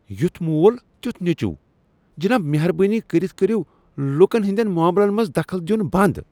یُتھ مول تیُتھ نیچُو ۔ جِناب مہربٲنی كرِتھ كرِو لوٗكن ہندین معاملن منز دخل دِیُن بند ۔